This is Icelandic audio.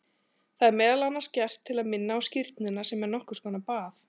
Það er meðal annars gert til að minna á skírnina sem er nokkur konar bað.